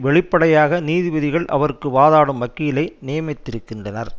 வெளிப்படையாக நீதிபதிகள் அவருக்கு வாதாடும் வக்கீலை நியமித்திருக்கின்றனர்